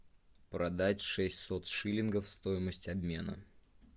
продать шестьсот шиллингов стоимость обмена